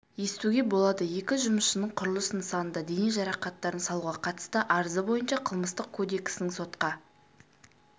естуге болады екі жұмысшының құрылыс нысанында дене жарақаттарын салуға қатысты арызы бойынша қылмыстық кодексінің сотқа